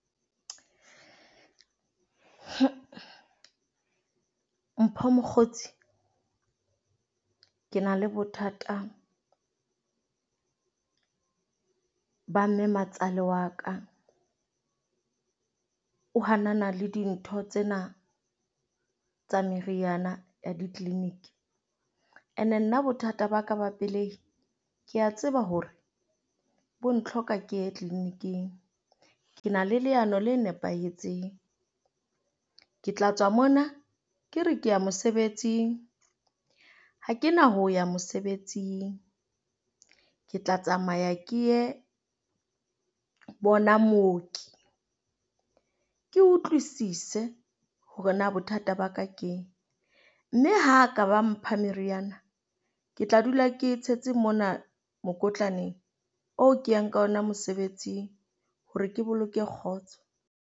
Mpho mokgotsi, ke na le bothata ba mmematsale wa ka. O hanana le dintho tsena tsa meriana ya di-clinic. Ene nna bothata ba ka ba pelei ke a tseba hore bo ntlhoka ke ye clinic-ing. Ke na le leano la nepahetseng, Ke tla tswa mona ke re ke ya mosebetsing. Ha kena ho ya mosebetsing. Ke tla tsamaya ke ye bona mooki, ke utlwisise hore na bothata ba ka keng. Mme ha ka ba mpha meriana, ke tla dula ke e tshetse mona mokotlaneng oo ke yang ka ona mosebetsing hore ke boloke kgotso.